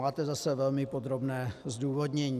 Máte zase velmi podrobné zdůvodnění.